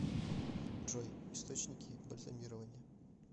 джой источники бальзамирование